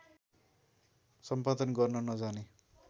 सम्पादन गर्न नजाने